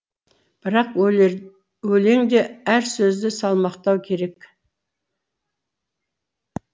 бірақ өлеңде әр сөзді салмақтау керек